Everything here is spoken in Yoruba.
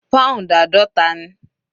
Pound àádọta ni.